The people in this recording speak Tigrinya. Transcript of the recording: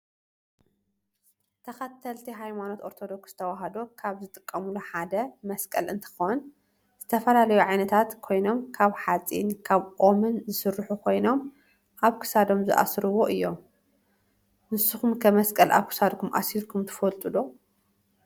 ተክተልቲ ሃይማኖት አርቶዶከስ ተዋህዶ ካበ ዝጥቀሙሉ ሓደ መስቀል እንትኮን ዝተፈላለዩ ዓየነታተ ኮይኖም ካብ ሓፂን ካብ ኦምን ዝስሩሑ ኮይኖም አብ ክሳዶም ዝአስርዎ እዮም። ንስክም ከ መሰቀል አብ ክሳድኩም አሲርኩም ትፈልጡ ዶ?